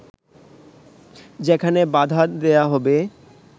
যেখানে বাধা দেয়া হবে